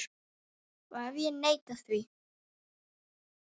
Og ef ég neita því?